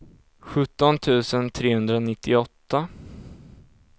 sjutton tusen trehundranittioåtta